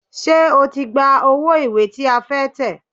Ṣé o ti gba owó ìwé tí a fẹ́ tẹ̀?